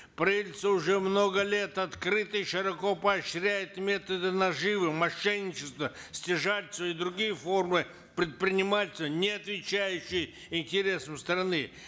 правительство уже много лет открыто и широко поощряет методы наживы мошенничества стяжательства и другие формы предпринимательства не отвечающие интересам страны